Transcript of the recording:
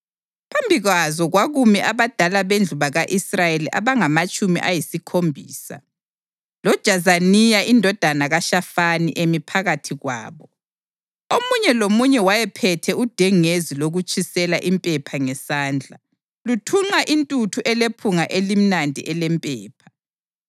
Phambi kwazo kwakumi abadala bendlu ka-Israyeli abangamatshumi ayisikhombisa, loJazaniya indodana kaShafani emi phakathi kwabo. Omunye lomunye wayephethe udengezi lokutshisela impepha ngesandla, luthunqa intuthu elephunga elimnandi elempepha.